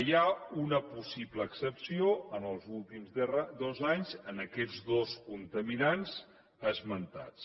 hi ha una possible excepció en els últims dos anys en aquests dos contaminants esmentats